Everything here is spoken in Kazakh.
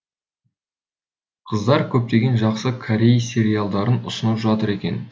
қыздар көптеген жақсы корей сериалдарын ұсынып жатыр екен